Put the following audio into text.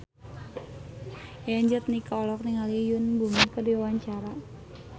Yayan Jatnika olohok ningali Yoon Bomi keur diwawancara